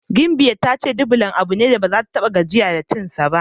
Gimbiyar ta yi ce Dublan abu ne da baza ta ta6a gajiya da cinsa ba.